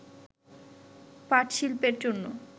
পাটশিল্পের জন্য